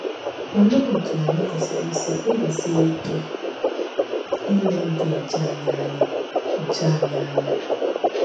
Olee otú anyị kwesịrị isi kpebisie ike ile ịdị ọcha anyị anya? ọcha anyị anya?